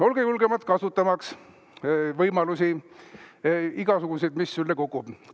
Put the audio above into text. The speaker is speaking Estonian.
Olge julgemad, kasutamaks igasuguseid võimalusi, mis sülle kukuvad.